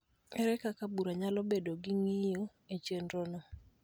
Ere kaka bura nyalo bedo gi ng�iyo e chenrono